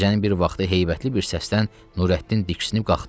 Gecənin bir vaxtı heybətli bir səsdən Nurəddin diksinib qalxdı.